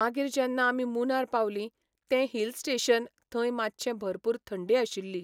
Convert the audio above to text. मागीर जेन्ना आमी मूनार पावलीं, तें हील स्टॅशन थंय मातशें भरपूर थंडी आशिल्ली.